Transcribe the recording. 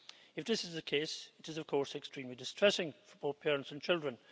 If this is the case, it is of course extremely distressing for parents and children.